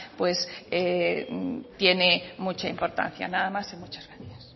pues tiene mucha importancia nada más y muchas gracias